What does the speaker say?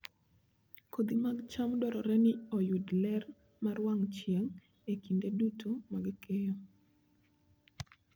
Kodhi mag cham dwarore ni oyud ler mar wang' chieng' e kinde duto mag keyo.